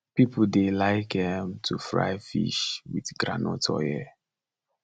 people dey like um to fry fish with groundnut oil